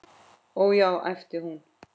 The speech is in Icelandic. Ó, já, æpti hún.